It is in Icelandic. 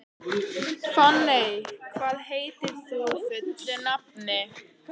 Fanney, hvað heitir þú fullu nafni?